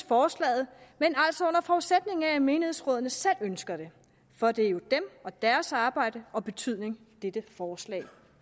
forslaget men altså under forudsætning af at menighedsrådene selv ønsker det for det er jo dem og deres arbejde og betydning dette forslag